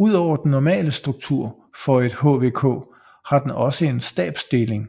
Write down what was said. Ud over den normale struktur for et HVK har den også en stabsdeling